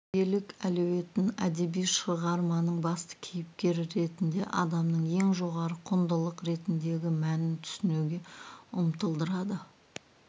тәрбиелік әлеуетін әдеби шығарманың басты кейіпкері ретінде адамның ең жоғары құндылық ретіндегі мәнін түсінуге ұмтылдырады